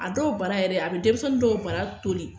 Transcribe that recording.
A dɔw bana yɛrɛ a be denmisɛnni dɔw baara toli